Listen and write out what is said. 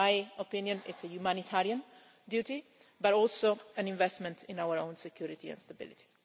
In my opinion, it is a humanitarian duty but also an investment in our own security and stability.